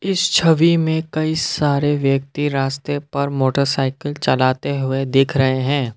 इस छवि में कई सारे व्यक्ति रास्ते पर मोटरसाइकिल चलाते हुए दिख रहे हैं।